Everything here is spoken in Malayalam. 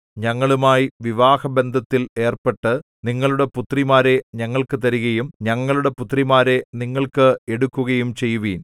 ഞങ്ങളുമായി വിവാഹബന്ധത്തിൽ ഏർപ്പെട്ട് നിങ്ങളുടെ പുത്രിമാരെ ഞങ്ങൾക്കു തരികയും ഞങ്ങളുടെ പുത്രിമാരെ നിങ്ങൾക്ക് എടുക്കുകയും ചെയ്യുവിൻ